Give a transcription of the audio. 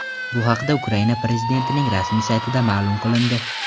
Bu haqda Ukraina prezidentining rasmiy saytida ma’lum qilindi .